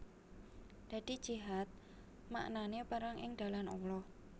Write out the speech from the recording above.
Dadi jihad maknané perang ing dalan Allah